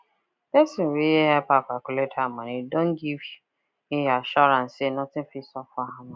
person wey help her calculate her moeny don give he assurance say nothing fit sup for her money